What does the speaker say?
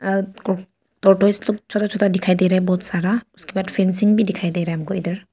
दो ठो स्तूप छोटा छोटा दिखाई दे रहा है बहुत सारा। उसके बाद फेंसिंग भी दिखाई दे रहा है हमको इधर।